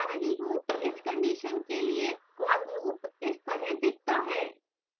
इस condition के लिए for loop इस तरह दिखता है